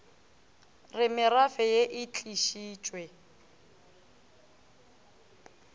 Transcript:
re merafe ye e tlišitšwe